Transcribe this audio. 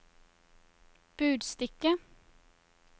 budstikke